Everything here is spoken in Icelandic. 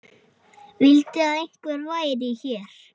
Vildi að einhver væri hér.